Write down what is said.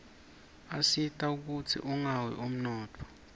asita kutsz unqawi umnotfo